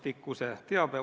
Minu andmetel oli ta seal.